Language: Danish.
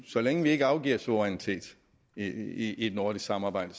så længe vi ikke afgiver suverænitet i et nordisk samarbejde